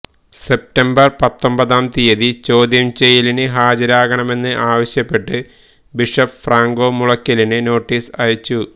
September പത്തൊമ്പതാം തിയതി ചോദ്യംചെയ്യലിന് ഹാജരാകണമെന്ന് ആവശ്യപ്പെട്ട് ബിഷപ്പ് ഫ്രാങ്കോ മുളയ്ക്കലിന് നോട്ടീസ് അയച്ചു